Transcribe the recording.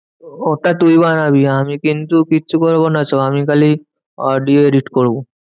ওটা তুই বানাবি আমি কিন্তু কিচ্ছু করবো না আমি খালি audio edit করবো।